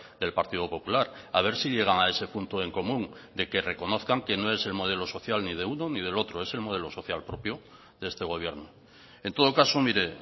del partido popular a ver si llegan a ese punto en común de que reconozcan que no es el modelo social ni de uno ni del otro es el modelo social propio de este gobierno en todo caso mire